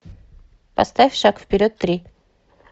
поставь шаг вперед три